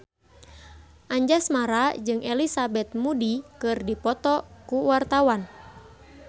Anjasmara jeung Elizabeth Moody keur dipoto ku wartawan